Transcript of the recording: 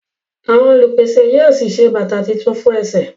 Àwọn olupese yíò sí ṣe bàtá títún fún èsè.